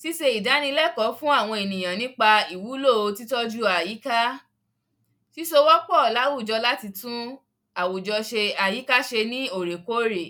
síse ìdínilẹ́ẹ̀kọ́ fún àwọn èyàn nípa ìwúlò títọ́ju àyíká, síso wọ́pọ̀ láwùjọ, láti tún àwùjọ se, àyíká se ní òrèkórè.